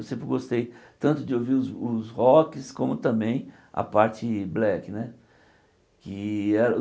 Eu sempre gostei tanto de ouvir os os Rocks como também a parte Black né que